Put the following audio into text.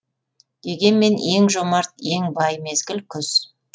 дегенмен ең жомарт ең бай мезгіл күз